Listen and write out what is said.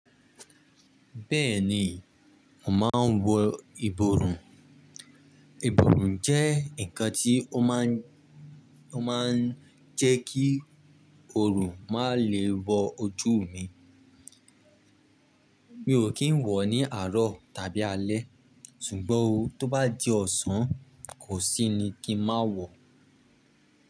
Bẹ́ẹ̀ni, mo máa ń wọ ìborùn. Ìborùn jẹ́ nǹkan tí ó máa ń, ó máa ń jẹ́ kí oòrùn má lè wọ ojú mi. Mi ò kì ń wọ̀ ní àárọ̀ tàbí alẹ́ ṣùgbọ́n tó bá di ọ̀sán, kò sí ni kí n má wọ̀.